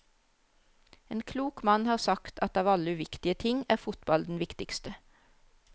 En klok mann har sagt at av alle uviktige ting er fotball den viktigste.